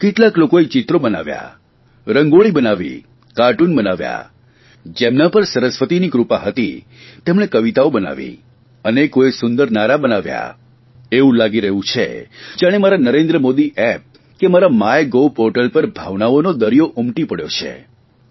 કેટલાક લોકોએ ચિત્રો બનાવ્યાં રંગોળી બનાવી કાર્ટુન બનાવ્યાં જેમના પર સરસ્વતીની કૃપા હતી તેમણે કવિતાઓ બનાવી અનેકોએ સુંદર નારા બનાવ્યા એવું લાગી રહ્યું છે જાણે મારા નરેન્દ્ર મોદી એપ્પ કે મારા માય ગોવ પોર્ટલ પર ભાવનાઓનો દરિયો ઉમટી પડ્યો છે